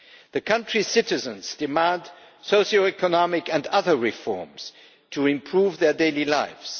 The country's citizens demand socio economic and other reforms to improve their daily lives.